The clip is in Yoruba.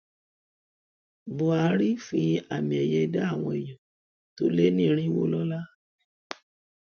buhari fi àmiẹyẹ dá àwọn èèyàn tó lé ní irínwó lọlá